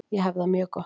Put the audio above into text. Ég hef það mjög gott.